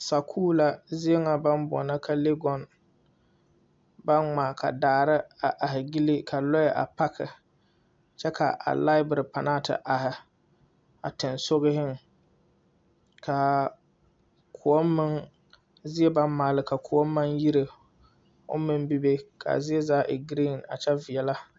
Sakuure la zie nyɛ baŋ boɔlɔ ka legɔn baŋ ŋmaa ka daare a are gyile ka lɔɛɛ a pake kyɛ ka a laibire panaa te are a tiŋsogiŋ ka koɔŋ meŋ zie bamaaleka koɔŋ meŋ aŋ yire o meŋ bebe kaa zie zaa e giriin kyɛ veɛlɛ.